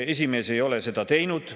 Esimees ei ole seda teinud.